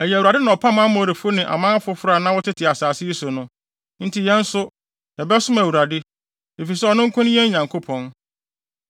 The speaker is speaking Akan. Ɛyɛ Awurade na ɔpam Amorifo ne aman foforo a na wɔte asase yi so no. Enti yɛn nso, yɛbɛsom Awurade, efisɛ ɔno nko ne yɛn Nyankopɔn.”